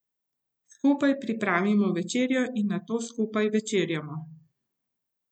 Skupaj pripravimo večerjo in nato skupaj večerjamo.